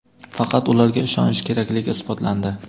faqat ularga ishonish kerakligi isbotlandi.